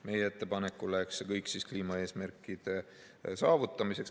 Meie ettepanekul läheks see kõik kliimaeesmärkide saavutamiseks.